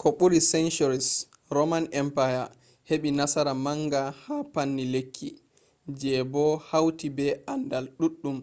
ko ɓuri centuries roman empire heɓi nasara manga ha panni lekki je bo hauti be andal ɗuɗɗum